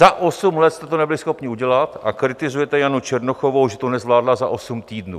Za osm let jste to nebyli schopni udělat, a kritizujete Janu Černochovou, že to nezvládla za osm týdnů.